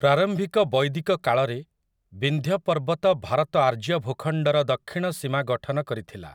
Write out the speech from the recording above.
ପ୍ରାରମ୍ଭିକ ବୈଦିକ କାଳରେ, ବିନ୍ଧ୍ୟ ପର୍ବତ ଭାରତ ଆର୍ଯ୍ୟ ଭୂଖଣ୍ଡର ଦକ୍ଷିଣ ସୀମା ଗଠନ କରିଥିଲା ।